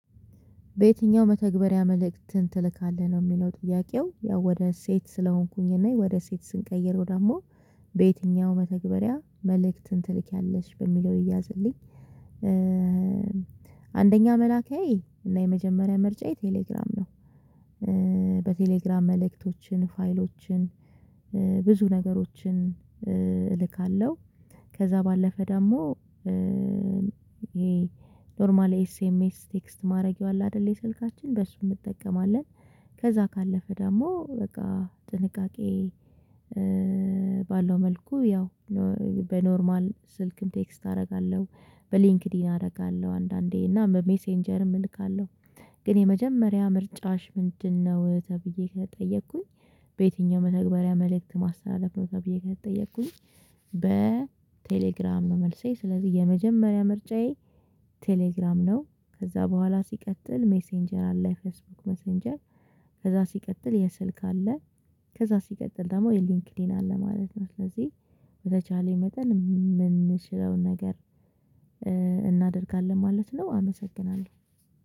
በየትኛው መተግበሪያ መልእክትን ትልካለህ ነው የሚለው ጥያቄው? ያው ወደ ሴት ስለሆንኩኝ እና ወደ ሴት ስንቀይረው ደግሞ በየትኛውም መተግበሪያ መልእክትን ትልኪያለሽ በሚለው ይያዝልኝ። አንደኛ መላኪያዬ እና የመጀመሪያ ምርጫ የቴሌግራም ነው። በቴሌግራም መልእክቶችን ፋይሎችን ብዙ ነገሮችን እልካለሁ። ከዛ ባለፈ ደግሞ ይሄ ኖርማል ኤስኤምኤስ ቴክስት ማድረጌው አለ። አይደለ የስልካችን በእሱ እንጠቀማለን። ከዛ ካለፈ ደግሞ በቃ ጥንቃቄ። ባለው መልኩ ያው በኖርማል ስልክም ቴክስት አደርጋለሁ። በሊንክድኢን አደርጋለሁ አንዳንዴ እና ሜሴንጀርም እልካለሁ። ግን የመጀመሪያ ምርጫሽ ምንድነው? ተብዬ ከተጠየኩኝ። በየትኛውም መተግባሪያ መልእክት ማስተላለፍ ነው ተብዬ ከተጠየቅኩኝ። በቴሌግራም ነው መልሴ ስለዚህ የመጀመሪያ ምርጫዬ ቴሌግራም ነው። ከዛ በኋላ ሲቀጥል ሜሴንጀር አለ ፌስቡክ ሜሴንጀር። ከዛ ሲቀጥል የስልክ አለ። ከዛ ሲቀጥል ደግሞ የሊንክሊን አለ ማለት ነው። ስለዚህ በተቻለኝ መጠን የምንችለውን ነገር እናደርጋለን ማለት ነው። አመሰግናለሁ።